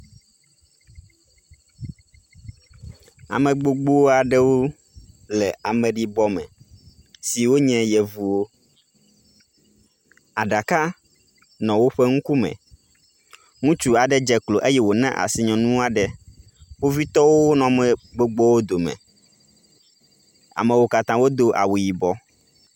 Ame gbogbo aɖewo le ameɖibɔ me siwo nye yevuwo. Aɖaka nɔ woƒe ŋkume. Ŋutsu aɖe dze klo eye wona asi nyɔnu aɖe. kpovitɔo nɔ ame gbogbowo dome. Amewo katã wodo awu yibɔ.